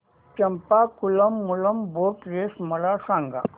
Champakulam Moolam boat race मला सांग